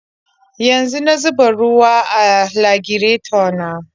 Yanzu na zuba ruwa a lagireto na.